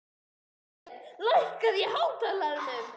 Lísbet, lækkaðu í hátalaranum.